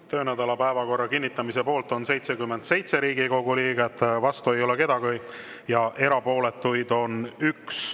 Töönädala päevakorra kinnitamise poolt on 77 Riigikogu liiget, vastu ei ole keegi ja erapooletuid on 1.